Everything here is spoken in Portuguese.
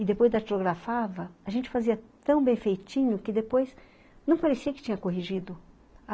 E depois datilografava, a gente fazia tão bem feitinho que depois não parecia que tinha corrigido.